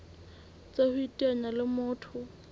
tsa ho iteanya le motho